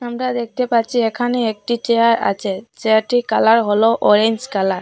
আমরা দেখতে পারছি এখানে একটি চেয়ার আছে চেয়ারটি কালার হল অরেঞ্জ কালার ।